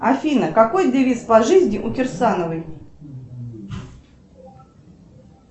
афина какой девиз по жизни у кирсановой